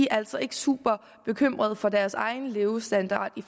altså ikke super bekymrede for deres egen levestandard i